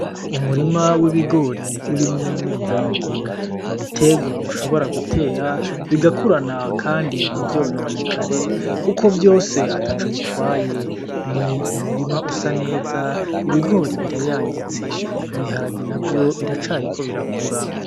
Umurima w'ibigori urimwo n'ibiharage. Ni ibiterwa ushobora gutera bigakurana kandi ntivyononekare kuko vyose ataco bitwaye. Ni umurima usa neza, ibigori birayangitse, ibiharage navyo biracariko birakura.